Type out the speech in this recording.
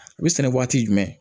U bɛ sɛnɛ waati jumɛn